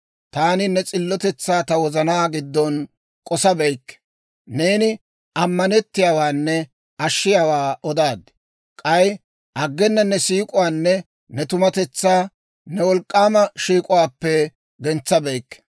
Taani ne s'illotetsaa ta wozanaa giddon k'osabeykke; neeni ammanettiyaawaanne ashshiyaawaa odaad. K'ay aggena ne siik'uwaanne ne tumatetsaa, ne wolk'k'aama shiik'uwaappe gentsabeykke.